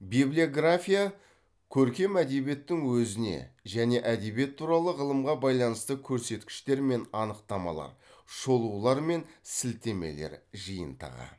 библиография көркем әдебиеттің өзіне және әдебиет туралы ғылымға байланысты көрсеткіштер мен анықтамалар шолулар мен сілтемелер жиынтығы